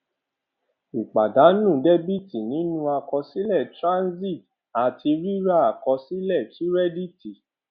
ìpàdánù dẹbìtì nínú àkọsílẹ transit àti rírà àkọsílẹ kírẹdíìtì